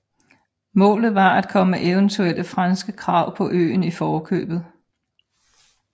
Målet var at komme eventuelle franske krav på øen i forkøbet